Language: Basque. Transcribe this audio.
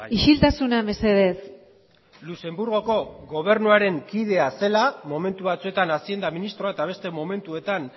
isiltasuna mesedez luxemburgoko gobernuaren kidea zela momentu batzuetan hazienda ministroa eta beste momentuetan